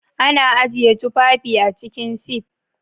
Ana ajiye tufafi a cikin sif